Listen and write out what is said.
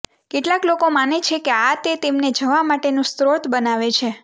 કેટલાક લોકો માને છે કે આ તે તેમને જવા માટેનું સ્રોત બનાવે છે